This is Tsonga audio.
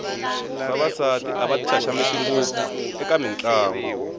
vavasati a va ti xaxameti ngopfu eka mitlangu